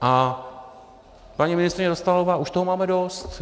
A paní ministryně Dostálová, už toho máme dost.